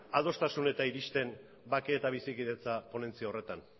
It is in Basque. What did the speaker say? adostasunetara iristen bake eta bizikidetza ponentzia horretan